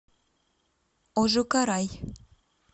ожукарай